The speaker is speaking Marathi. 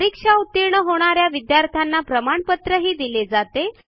परीक्षा उतीर्ण होणा या विद्यार्थ्यांना प्रमाणपत्रही दिले जाते